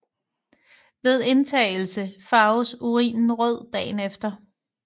Ved indtagelse farves urinen rød dagen efter